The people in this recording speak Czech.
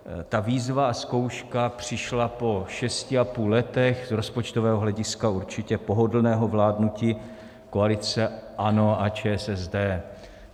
Ta výzva a zkouška přišla po šesti a půl letech z rozpočtového hlediska určitě pohodlného vládnutí koalice ANO a ČSSD.